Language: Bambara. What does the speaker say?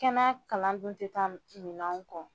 Kɛnɛ kalan dun tɛ taa minɛw kɔ